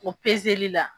O peseli la